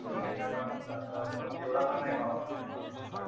हो मी पण इंस्टाग्रामच जास्त पण तेवढा पण नाही वापरत एवढा इंस्टाग्राम.